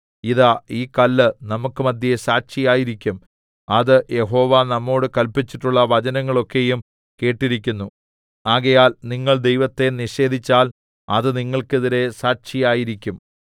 ഇതാ ഈ കല്ല് നമുക്കു മധ്യേ സാക്ഷിയായിരിക്കും അത് യഹോവ നമ്മോട് കല്പിച്ചിട്ടുള്ള വചനങ്ങളൊക്കെയും കേട്ടിരിക്കുന്നു ആകയാൽ നിങ്ങൾ ദൈവത്തെ നിഷേധിച്ചാൽ അത് നിങ്ങൾക്കെതിരെ സാക്ഷിയായിരിക്കും